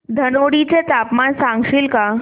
धनोडी चे तापमान सांगशील का